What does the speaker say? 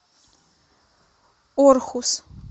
орхус